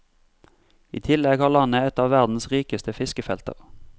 I tillegg har landet et av verdens rikeste fiskefelter.